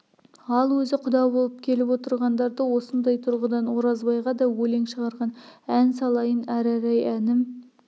ал өзі құда болып келіп отырғандарды осындай тұрғыдан оразбайға да өлең шығарған ән салайын арарай әнім